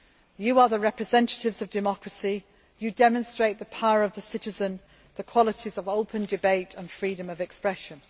You are the representatives of democracy you demonstrate the power of the citizen, and the qualities of open debate and freedom of expression.